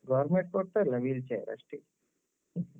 government ಕೊಡ್ತಾರೆ wheel chair ಅಷ್ಟೇ.